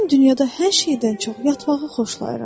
Mən dünyada hər şeydən çox yatmağı xoşlayıram.